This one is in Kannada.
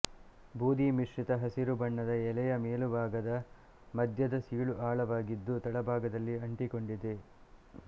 ಬೂದಿ ಮಿಶ್ರಿತ ಹಸಿರು ಬಣ್ಣದ ಎಲೆಯ ಮೇಲುಭಾಗದ ಮಧ್ಯದ ಸೀಳು ಆಳವಾಗಿದ್ದು ತಳಭಾಗದಲ್ಲಿ ಅಂಟಿಕೊಂಡಿದೆ